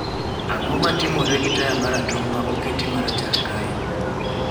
Ang'o matimore gi taya ma ratong' ma oketi ma rachar kae